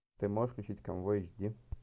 ты можешь включить конвой эйч ди